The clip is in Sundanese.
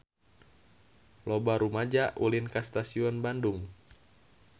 Loba rumaja ulin ka Stasiun Bandung